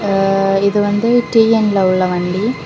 ஆ இது வந்து டி_என் ல உள்ள வண்டி.